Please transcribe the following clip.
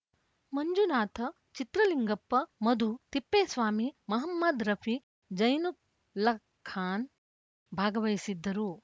ಮಂಜುನಾಥ್‌ ಚಿತ್ರಲಿಂಗಪ್ಪ ಮಧು ತಿಪ್ಪೇಸ್ವಾಮಿ ಮಹಮ್ಮದ್‌ ರಫಿ ಜೈನುಲ್ಲಖಾನ್‌ ಭಾಗವಹಿಸಿದ್ದರು